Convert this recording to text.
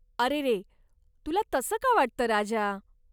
अरेरे, तुला तसं का वाटतं राजा?